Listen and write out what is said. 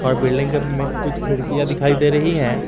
और बिल्डिंग के में कुछ खिड़कियां दिखाई दे रही है।